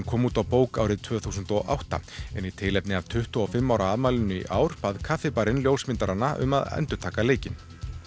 kom út á bók árið tvö þúsund og átta en í tilefni af tuttugu og fimm ára afmælinu í ár bað kaffibarinn um að endurtaka leikinn